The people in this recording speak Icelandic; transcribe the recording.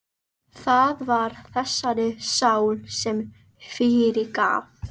Það var þessari sál sem ég fyrirgaf.